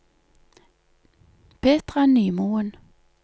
Petra Nymoen